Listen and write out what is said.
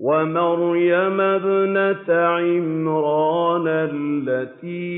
وَمَرْيَمَ ابْنَتَ عِمْرَانَ الَّتِي